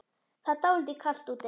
Það er dálítið kalt úti.